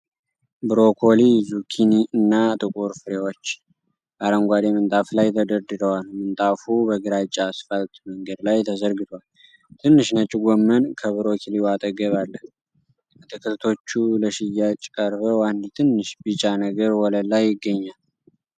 ብሮኮሊ፣ ዙኪኒ እና ጥቁር ፍሬዎች በአረንጓዴ ምንጣፍ ላይ ተደርድረዋል። ምንጣፉ በግራጫ አስፋልት መንገድ ላይ ተዘርግቷል። ትንሽ ነጭ ጎመን ከብሮኮሊው አጠገብ አለ። አትክልቶቹ ለሽያጭ ቀርበው፤ አንድ ትንሽ ቢጫ ነገር ወለል ላይ ይገኛል።